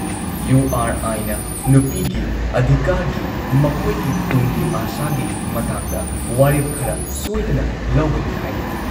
U ꯑꯥꯔ ꯑꯥꯏꯅ ꯅꯨꯄꯤꯒꯤ ꯑꯙꯤꯀꯥꯔꯒꯤ, ꯃꯈꯣꯏꯒꯤ ꯇꯨꯡꯒꯤ ꯑꯥꯁꯥꯒꯤ ꯃꯇꯥꯡꯗ ꯋꯥꯔꯦꯞ ꯈꯔ ꯁꯣꯏꯗꯅ ꯂꯧꯒꯅꯤ ꯍꯥꯏꯅ ꯫